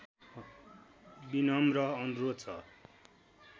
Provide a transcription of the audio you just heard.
विनम्र अनुरोध छ